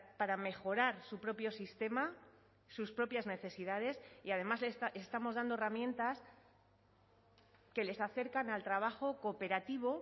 para mejorar su propio sistema sus propias necesidades y además estamos dando herramientas que les acercan al trabajo cooperativo